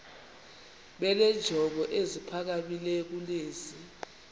benenjongo eziphakamileyo kunezi